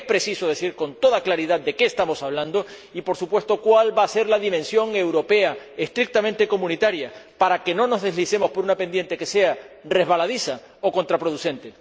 Porque es preciso decir, con toda claridad, de qué estamos hablando y, por supuesto, cuál va a ser la dimensión europea estrictamente comunitaria, para que no nos deslicemos por una pendiente que sea resbaladiza o contraproducente.